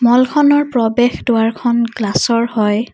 Wall খনৰ প্ৰৱেশ দুৱাৰখন গ্লাচ ৰ হয়।